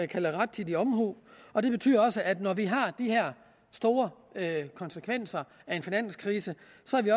kalder rettidig omhu og det betyder også at vi når vi har de her store konsekvenser af en finanskrise